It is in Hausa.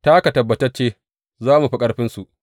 Ta haka tabbatacce za mu fi ƙarfinsu.